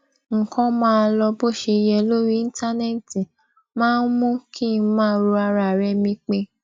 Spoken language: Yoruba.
nǹkan máa lọ bó ṣe yẹ lórí íńtánéètì máa ń mú kín máa ro ara re mi pin